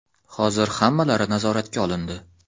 Hozir hammalari nazoratga olindi.